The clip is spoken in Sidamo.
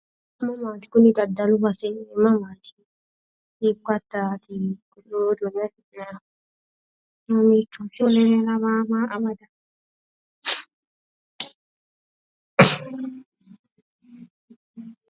mamaati kuni dadalu base mamaati? hiikko addaati kuni togoo suuqe afi'nanihu?